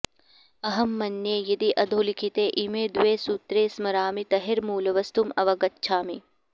अहं मन्ये यदि अधोलिखिते इमे द्वे सूत्रे स्मरामि तर्हि मूलवस्तुं अवगच्छामि